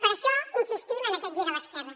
per això insistim en aquest gir a l’esquerra